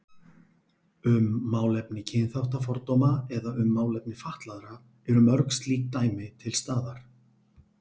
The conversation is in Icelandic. Um málefni kynþáttafordóma eða um málefni fatlaðra eru mörg slík dæmi til staðar.